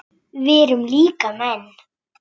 Við erum líka menn.